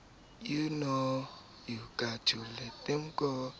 b o lemaditswe ke se